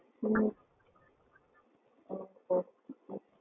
ஹம் okay